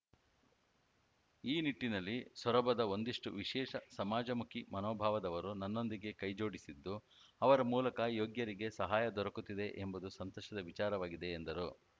ಈ ನಿಟ್ಟಿನಲ್ಲಿ ಸೊರಬದ ಒಂದಿಷ್ಟುವಿಶೇಷ ಸಮಾಜಮುಖಿ ಮನೋಭಾವದವರು ನನ್ನೊಂದಿಗೆ ಕೈಜೋಡಿಸಿದ್ದು ಅವರ ಮೂಲಕ ಯೋಗ್ಯರಿಗೆ ಸಹಾಯ ದೊರಕುತ್ತಿದೆ ಎಂಬುದು ಸಂತಸದ ವಿಚಾರವಾಗಿದೆ ಎಂದರು